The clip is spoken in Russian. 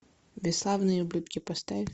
бесславные ублюдки поставь